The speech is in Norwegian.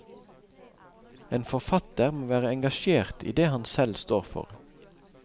En forfatter må være engasjert i det han selv står for.